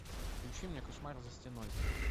включи мне кошмар за стеной